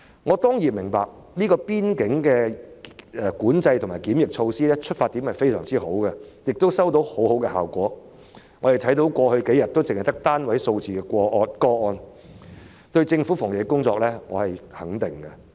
我當然明白邊境管制和檢疫措施的出發點非常好，亦收到很好的效果，我們看到過去數天只有單位數字的確診個案，我對政府的防疫工作表示肯定。